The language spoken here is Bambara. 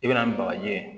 I bɛna ni bagaji ye